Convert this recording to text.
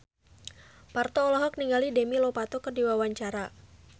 Parto olohok ningali Demi Lovato keur diwawancara